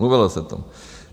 Mluvilo se o tom!